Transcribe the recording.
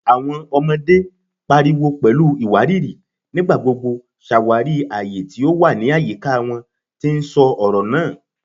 Awọn ọmọde, pariwo pẹlu iwariiri, nigbagbogbo ṣawari aye ti o wa ni ayika wọn, ti n sọ ọrọ naa